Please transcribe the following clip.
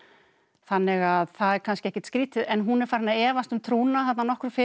þannig að það er kannski ekkert skrýtið en hún er farin að efast um trúna þarna nokkru fyrr